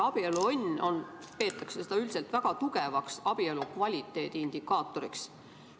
Abieluõnne peetakse üldiselt väga tugevaks abielu kvaliteedi indikaatoriks.